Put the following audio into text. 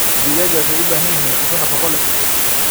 Digaagga waxay u baahan yihiin cunto nafaqo leh.